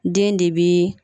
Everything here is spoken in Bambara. Den de bi